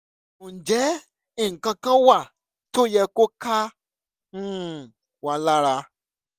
ǹjẹ́ nǹkan kan wà tó yẹ kó ká um wa lára?